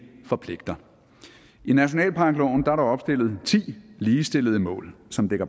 forpligter i nationalparkloven er der opstillet ti ligestillede mål som